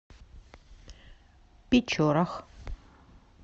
печорах